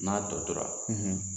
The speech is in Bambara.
N'a tɔ tora,